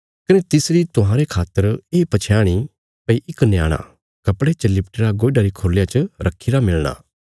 कने तिसरी तुहांरे खातर ये पछयाण इ भई इक न्याणा कपड़े च लिपटी रा गोयडा री खुरलिया च रखीरा मिलणा